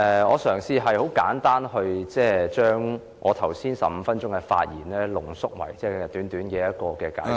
我嘗試將我剛才15分鐘的發言，濃縮為簡短的解釋......